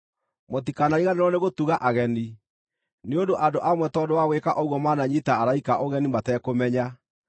Mũtikanariganĩrwo nĩgũtuga ageni, nĩ ũndũ andũ amwe tondũ wa gwĩka ũguo maananyiita araika ũgeni matekũmenya.